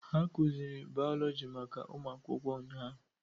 A kụziiri bayọlọji maka ụmụ akwụkwọ ụnyahụ.